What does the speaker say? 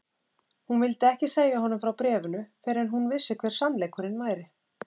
Hún vildi ekki segja honum frá bréfinu fyrr en hún vissi hver sannleikurinn væri.